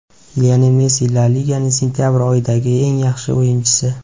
Lionel Messi La Liganing sentabr oyidagi eng yaxshi o‘yinchisi.